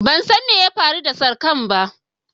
Ban san me ya faru da sarkar ba.